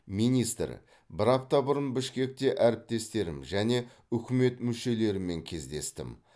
министр бір апта бұрын бішкекте әріптестерім және үкімет мүшелерімен кездестім